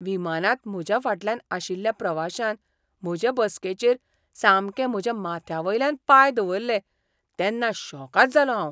विमानांत म्हज्या फाटल्यान आशिल्ल्या प्रवाशान म्हजे बसकेचेर सामके म्हज्या माथ्यावयल्यान पांय दवरले तेन्ना शॉकाद जालों हांव!